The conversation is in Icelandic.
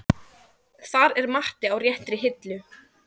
Þar er Matti á réttri hillu.